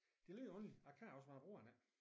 Det er lidt underligt jeg kan også men jeg bruger den ikke